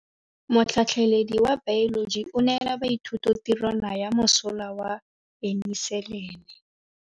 Motlhatlhaledi wa baeloji o neela baithuti tirwana ya mosola wa peniselene.